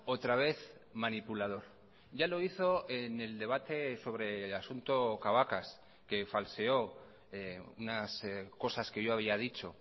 otra vez manipulador ya lo hizo en el debate sobre el asunto cabacas que falseó unas cosas que yo había dicho